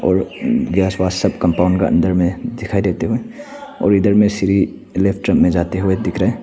और आसपास सब कंपाउंड का अंदर में दिखाई देते हुए और इधर में श्री में जाते हुए दिख रहे हैं।